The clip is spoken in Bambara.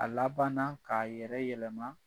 A labanna k'a yɛrɛ yɛlɛma